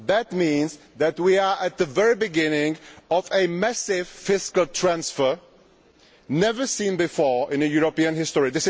This means that we are at the very beginning of a massive fiscal transfer, and one never before seen in European history.